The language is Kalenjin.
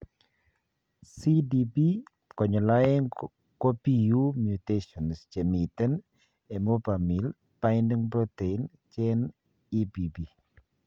CDPX2 kopiu mutations chemiten emopamil binding protein gene, EBP.